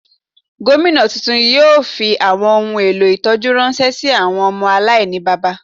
Gomina túntún náà yóò fí awọn ohún èlò ìtọjú ránṣẹ sí ilé awọn ọmọ aláìníbábá.